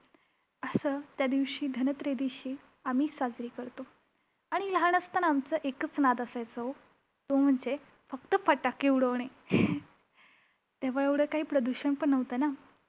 असं त्यादिवशी धनत्रयोदशी आम्ही साजरी करतो. आणि लहान असताना आमचा एकच नाद असायचा हो! तो म्हणजे फक्त फटाके उडविणे तेव्हा एवढं काही प्रदूषण पण नव्हतं ना!